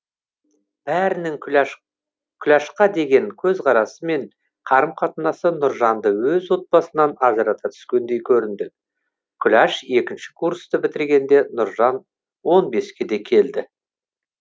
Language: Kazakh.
бәрінің күләшқа деген көзқарасы мен қарым қатынасы нұржанды өз отбасынан ажырата түскендей көрінді күләш екінші курсты бітіргенде нұржан он беске де келді